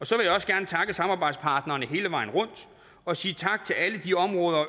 så vil jeg også gerne takke samarbejdspartnerne hele vejen rundt og sige tak til alle de områder og